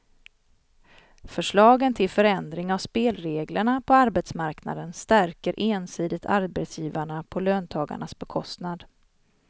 Förslagen till förändring av spelreglerna på arbetsmarknaden stärker ensidigt arbetsgivarna på löntagarnas bekostnad.